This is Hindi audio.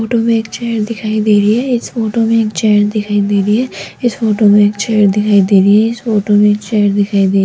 फोटो में एक चेयर दिखाई दे रही है इस फोटो में एक चेयर दिखाई दे रही है इस फोटो में एक चेयर दिखाई दे रही है इस फोटो में एक चेयर दिखाई दे --